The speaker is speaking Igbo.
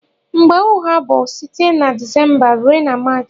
Mgbe ugha bu site na decemba rue na march.